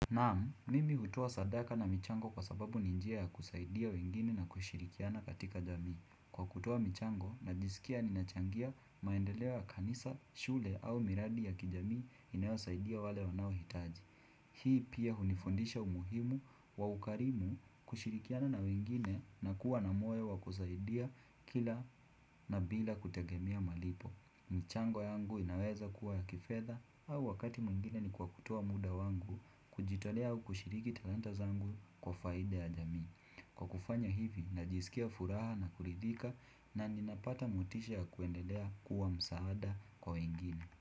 Naam, mimi hutoa sadaka na michango kwa sababu ni injia ya kusaidia wengine na kushirikiana katika jamii. Kwa kutoa michango, najisikia ninachangia maendeleo ya kanisa, shule au miradi ya kijamii inayo saidia wale wanao hitaji. Hii pia hunifundisha umuhimu wa ukarimu kushirikiana na wengine na kuwa na moyo wa kusaidia kila na bila kutegemea malipo. Michango yangu inaweza kuwa ya kifedha au wakati mwingine ni kwa kutoa muda wangu kujitolea au kushiriki talanta zangu kwa faida ya jamii. Kwa kufanya hivi, najisikia furaha na kuridhika na ninapata motisha ya kuendelea kuwa msaada kwa wengine.